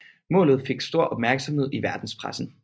Målet fik stor opmærksomhed i verdenspressen